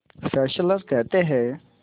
Fessler कहते हैं